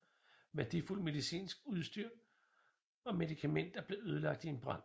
Værdifuldt medicinsk udstyr og medikamenter blev ødelagt i en brand